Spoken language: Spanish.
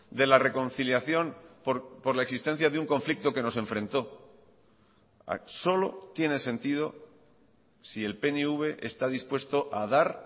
de la reconciliación por la existencia de un conflicto que nos enfrentó solo tiene sentido si el pnv está dispuesto a dar